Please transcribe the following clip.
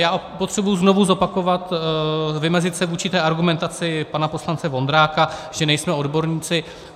Já potřebuji znovu zopakovat, vymezit se vůči té argumentaci pana poslance Vondráka, že nejsme odborníci.